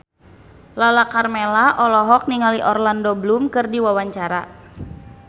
Lala Karmela olohok ningali Orlando Bloom keur diwawancara